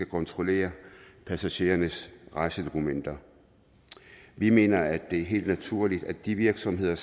kontrollere passagerernes rejsedokumenter vi mener at det er helt naturligt at de virksomheder